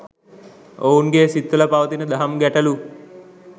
ඔවුන්ගේ සිත්වල පවතින දහම් ගැටලු